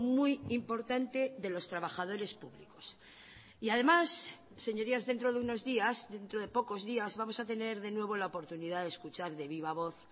muy importante de los trabajadores públicos y además señorías dentro de unos días dentro de pocos días vamos a tener de nuevo la oportunidad de escuchar de viva voz